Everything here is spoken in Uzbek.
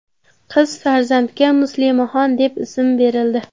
Qiz farzandga Muslimaxon deb ism berildi.